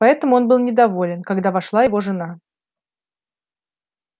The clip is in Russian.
поэтому он был недоволен когда вошла его жена